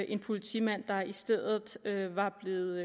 en politimand der i stedet var blevet